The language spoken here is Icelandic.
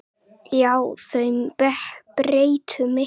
Já, þau breyttu miklu.